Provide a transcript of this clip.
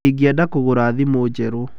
Ingĩenda kũgũra thimũ njerũ.